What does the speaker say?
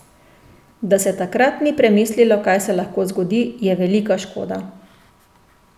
Da se takrat ni premislilo, kaj se lahko zgodi, je velika škoda.